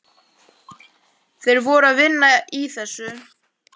Þeir voru að vinna í þessu.